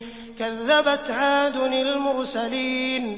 كَذَّبَتْ عَادٌ الْمُرْسَلِينَ